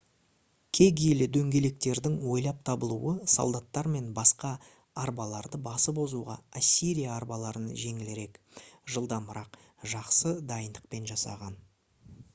кегейлі дөңгелектердің ойлап табылуы солдаттар мен басқа арбаларды басып озуға ассирия арбаларын жеңілірек жылдамырақ жақсы дайындықпен жасаған